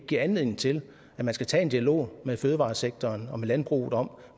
giver anledning til at man skal tage en dialog med fødevaresektoren og landbruget om